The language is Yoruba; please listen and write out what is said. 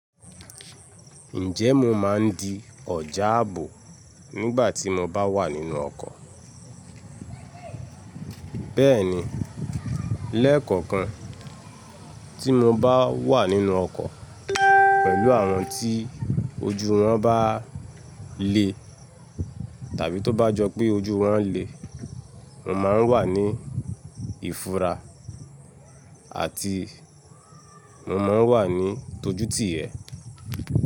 Ǹjẹ́ mo máa ń di ọjà ààbò nígbà tí mo bá wà nínú ọkọ̀? Bẹ́ẹ̀ni, lẹ́ẹ̀kọ̀kan tí mo bá wà nínú ọkọ̀ pẹ̀lú àwọn tí ojú wọn bá le tàbí tó bá jọ pé ojú wọn le, mo máa ń wà ní ìfura àti mo máa ń wà ní ìtójútì yẹ̀.